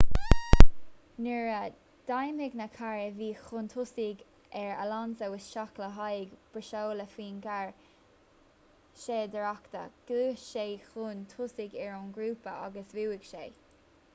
nuair a d'imigh na cairr a bhí chun tosaigh ar alonso isteach le haghaidh breosla faoin gcarr séidaireachta ghluais sé chun tosaigh ar an ngrúpa agus bhuaigh sé